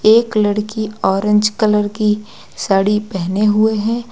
एक लड़की orange colour की साड़ी पहने हुए है।